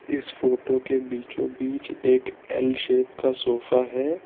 इस फोटो के बीचों बीच एक एल शेप का सोफा है।